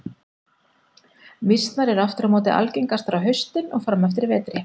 Mýsnar eru aftur á móti algengastar á haustin og fram eftir vetri.